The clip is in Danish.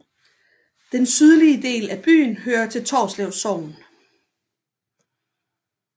Den sydlige del af byen hører til Torslev Sogn